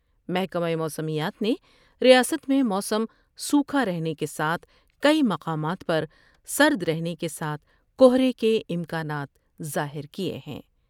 محکمہ موسمیات نے ریاست میں موسم سوکھا رہنے کے ساتھ کئی مقامات پر سر در ہنے کے ساتھ کہرے کے امکانات ظاہر کئے ہیں ۔